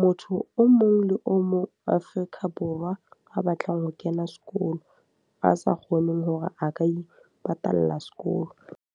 motho o mong le o mong Afrika Borwa a batlang ho kena sekolo. A sa kgoneng hore a ka ipatalla sekolo.